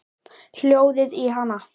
Hjólið í hana. takið af henni dolluna!